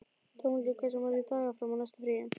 Dómaldur, hversu margir dagar fram að næsta fríi?